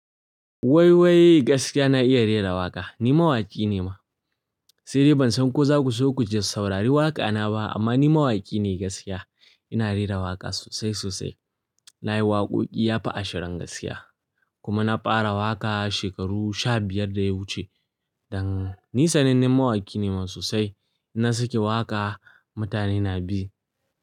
Waiwai gaskiya na iya rera waƙa. Ni mawaƙi ne ma. Sai dai ban san ko za ku so ku ji saurari waƙa na ba amma ni mawaƙi ne gaskiya. Ina rera waƙa sosai sosai. Na yi waƙoƙi yafi ashirin gaskiya kuma na fara waƙa shekaru sha biyar da ya wuce. Dan ni sanannen mawaƙi ne sosai. Na saki waƙa mutane na bi.